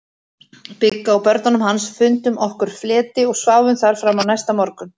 Bigga og börnunum hans, fundum okkur fleti og sváfum þar fram á næsta morgun.